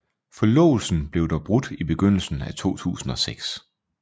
Forlovelsen blev dog brudt i begyndelsen af 2006